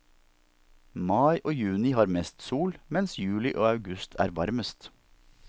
Mai og juni har mest sol, mens juli og august er varmest.